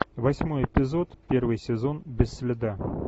восьмой эпизод первый сезон без следа